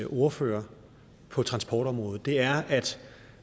ordfører på transportområdet er at